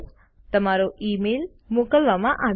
તમારો ઇમેઇલ મોકલવામાં આવ્યો છે